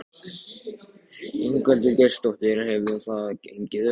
Ingveldur Geirsdóttir: Hefur það gengið eftir?